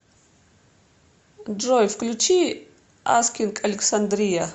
джой включи аскинг александрия